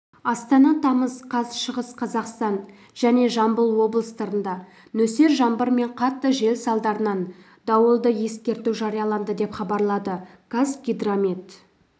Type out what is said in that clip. астана тамыз қаз шығыс қазақстан және жамбыл облыстарында нөсер жаңбыр мен қатты жел салдарынан дауылды ескерту жарияланды деп хабарлады қазгидромет